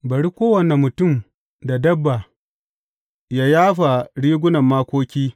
Bari kowane mutum da dabba yă yafa rigunan makoki.